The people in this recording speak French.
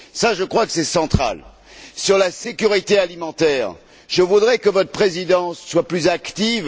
Je crois que c'est là un point central. Sur la sécurité alimentaire, je voudrais que votre présidence soit plus active.